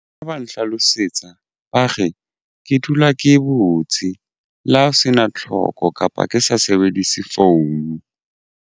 Ha ba nhlalosetsa ba re ke dula ke e butse le ha ho sena tlhoko kapa ke sa sebedise phone.